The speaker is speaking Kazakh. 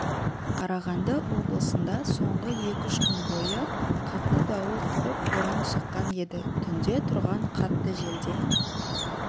қарағанды облысында соңғы екі-үш күн бойы қатты дауыл тұрып боран соққан еді түнде тұрған қатты желден